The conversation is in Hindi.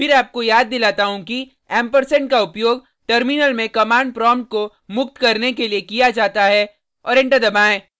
फिर आपको याद दिलाता हूँ कि ampersand का उपयोग टर्मिनल में कमांड प्रोम्प्ट को मुक्त करने के लिए किया जाता है और एंटर दबाएँ